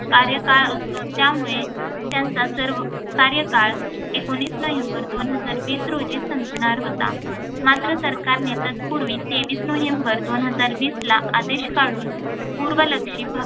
कार्यकाळ असतो त्यामुळे त्यांचा सर्व कार्यकाळ एकोणीस नवंबर दोन हजार वीस रोजी संपणार होता. मात्र सरकारने तत्पूर्वी तेवीस नोव्हेंबर दोन हजार वीसला आदेश काढून पूर्वलक्षी भा